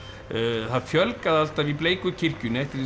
það fjölgaði alltaf í bleiku kirkjunni eftir því sem